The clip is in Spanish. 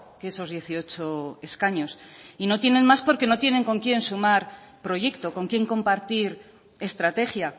que esos dieciocho escaños y no tienen más porque no tienen con quien sumar proyecto con quien compartir estrategia